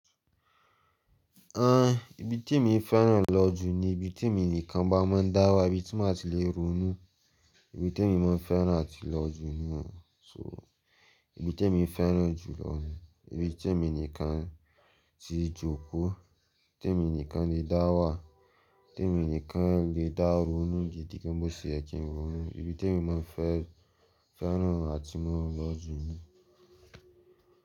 Ah, ibi tí èmi fẹ́ràn lọ jù ni ibi tí èmi nìkan bá máa ń dá wà, ibi tí màá ti lè ronú. Ibi tí èmi máa fẹ́ràn àti lọ jù ni wọ́n. So ibi tèmi fẹ́ràn jù lọ ni ibi tí èmi nìkan ti jókòó, tí èmi nìkan le dá wà, tí èmi nìkan le dá ronú gidi gan n bó ṣe ye kin ń ronú. Ibi tèmi máa fẹ́ fẹ́ràn àti máa lọ jù ni.